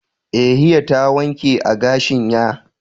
eh hiya ta wanke agashin ya.